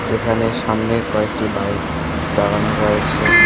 এখানে সামনে কয়েকটি বাইক দাঁড়ানো রয়েছে।